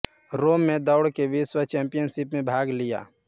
रोम में दौड की विश्व चैंपियनशिप में भाग लिया